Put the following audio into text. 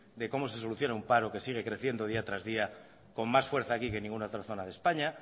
de cómo se soluciona un paro que sigue creciendo día tras día con más fuerza aquí que en ninguna otra zona de españa